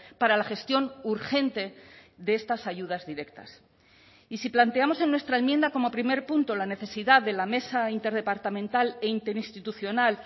para la gestión urgente de estas ayudas directas y si planteamos en nuestra enmienda como primer punto la necesidad de la mesa interdepartamental e interinstitucional